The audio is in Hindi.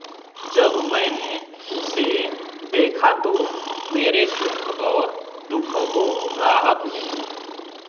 जब मैंने उसे देखा तो मेरे दुःख और दुःखों को राहत मिली